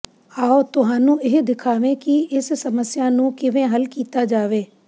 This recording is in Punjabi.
ਆਓ ਤੁਹਾਨੂੰ ਇਹ ਦਿਖਾਵੇ ਕਿ ਇਸ ਸਮੱਸਿਆ ਨੂੰ ਕਿਵੇਂ ਹੱਲ ਕੀਤਾ ਜਾਵੇ